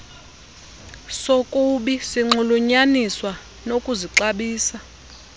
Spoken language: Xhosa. sokubi sinxulunyaniswa nokuzixabisa